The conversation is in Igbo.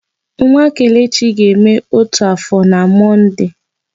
Nwa Kelechi ga-eme ótù áfọ̀ na Mọnde.